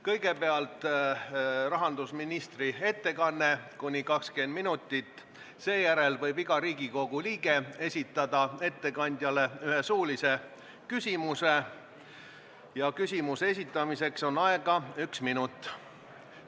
Kõigepealt on rahandusministri ettekanne kuni 20 minutit, seejärel võib iga Riigikogu liige esitada ettekandjale ühe suulise küsimuse ja küsimuse esitamiseks on aega üks minut.